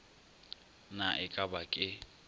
na e ka ba ke